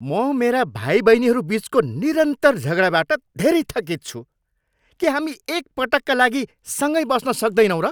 म मेरा भाइबहिनीहरू बिचको निरन्तर झगडाबाट धेरै थकित छु। के हामी एक पटकका लागि सँगै बस्न सक्दैनौँ र?